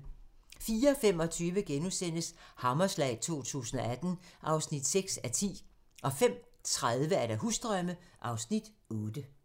04:25: Hammerslag 2018 (6:10)* 05:30: Husdrømme (Afs. 8)